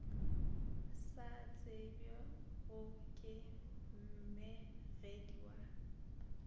sa tsebjego ke mmegedi wa